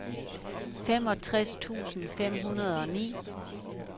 femogtres tusind fem hundrede og ni